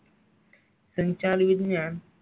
पंचाल, विज्ञान.